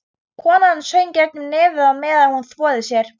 Konan söng gegnum nefið á meðan hún þvoði sér.